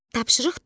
Tapşırıq dörd.